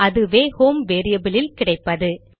அதுவே home variable இல் கிடைப்பது